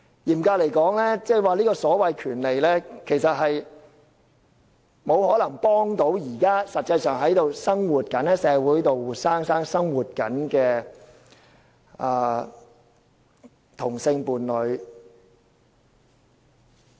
嚴格來說，這種權利其實並不可能幫助現時實際在社會上生活的同性伴侶。